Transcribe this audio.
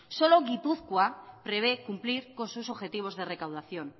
solo gipuzkoa prevé cumplir con sus objetivos de recaudación